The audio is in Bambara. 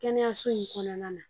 Kɛnɛyaso in kɔnɔna na.